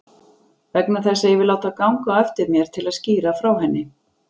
Vegna þess að ég vil láta ganga á eftir mér til að skýra frá henni.